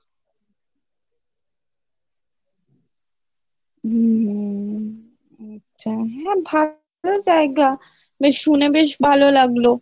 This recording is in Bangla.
হম হম আচ্ছা ভালো জায়গা বেশ শুনে বেশ ভালো লাগলো